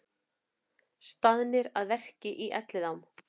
Staðnir að verki í Elliðaám